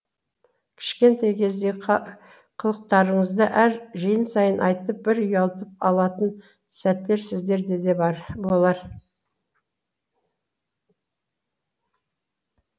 кішкентай кездегі қылықтарыңызды әр жиын сайын айтып бір ұялтып алатын сәттер сіздерде де бар болар